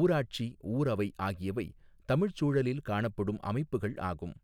ஊராட்சி ஊரவை ஆகியவை தமிழ்ச் சூழலில் காணப்படும் அமைப்புகள் ஆகும்.